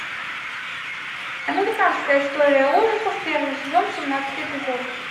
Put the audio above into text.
американская история ужасов первый сезон семнадцатый эпизод